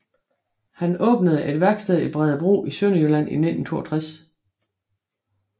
Han åbnede et værksted i Bredebro i Sønderjylland i 1962